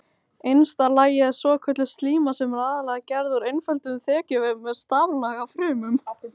Innsta lagið er svokölluð slíma sem er aðallega gerð úr einföldum þekjuvef með staflaga frumum.